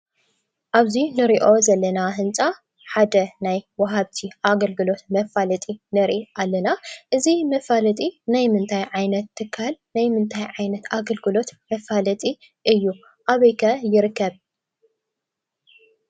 ኣብዚ ንሪኦ ዘለና ህንፃ ሓደ ናይ ወሃብቲ ኣገልግሎት መፋለጢ ንሪኢ ኣለና፡፡ እዚ መፋለጢ ናይ ምንታይ ዓይነት ትካል ናይ ምንታይ ዓይነት ኣገልግሎት መፋለጢ እዩ? ኣበይ ከ ይርከብ?